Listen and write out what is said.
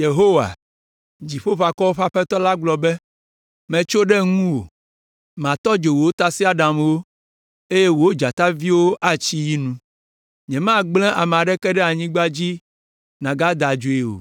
Yehowa, Dziƒoʋakɔwo ƒe Aƒetɔ la gblɔ be: “Metso ɖe ŋuwò; matɔ dzo wò tasiaɖamwo, eye wò dzataviwo atsi yi nu. Nyemagblẽ ame aɖeke ɖe anyigba dzi nàgada adzoe o,